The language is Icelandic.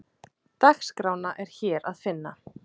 Dagskrána er hér að finna